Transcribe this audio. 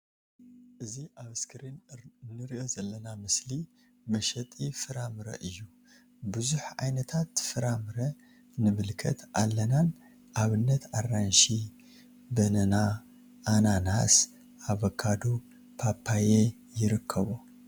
እዚ ኣብ እስክሪን እንሪኦ ዘለና ምስሊ መሸጢ ፍራምረ እዩ ቡዙሕ ዓይነት ፍራምረ ንምልከት ኣለና ን ኣብነት ኣራንሺ በነና ኣናናስ ኣቮካዶ ፓፓያ ይርከቦ።